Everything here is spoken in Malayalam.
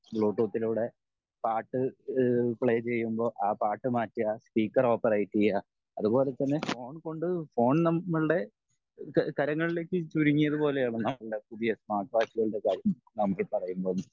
ബ്ലേടൂത്തിലൂടെ പാട്ട് പ്ലേ ചെയ്യുമ്പോൾ ആ പാട്ട് മാറ്റെ സ്പീക്കർ ഓപ്പറേറ്റ് ചെയ്യേ അതുപോലെ തന്നെ ഫോൺ കൊണ്ട് ഫോൺ നമ്മളുടെ കാരങ്ങളിലേക്ക് ചുരുങ്ങിയത് പോലെ ആണ് നമ്മളുടെ പുതിയ സ്മാർട്ട് വാച്ചുകളുടെ കാര്യം